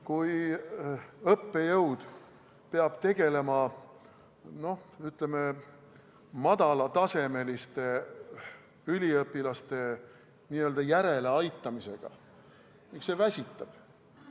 Kui õppejõud peab tegelema, ütleme, madala tasemega üliõpilaste n-ö järeleaitamisega, siis see väsitab.